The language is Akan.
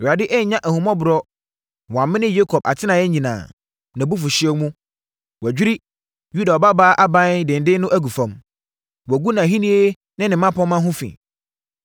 Awurade annya ahummɔborɔ na wamene Yakob atenaeɛ nyinaa; nʼabufuhyeɛ mu, wadwiri Yuda Ɔbabaa aban denden no agu fam. Wagu nʼahennie ne ne mmapɔmma ho fi.